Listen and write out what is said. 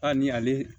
A ni ale